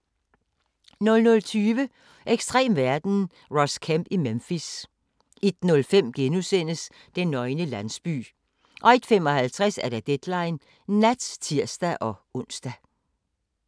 00:20: Ekstrem verden – Ross Kemp i Memphis 01:05: Den nøgne landsby * 01:55: Deadline Nat (tir-ons)